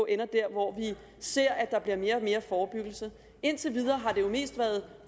ender der hvor vi ser at der bliver mere og mere forebyggelse indtil videre har det jo mest været